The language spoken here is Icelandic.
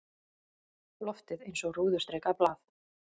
Loftið eins og rúðustrikað blað.